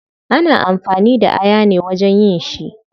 Ana amfani da aya ne wajen yin shi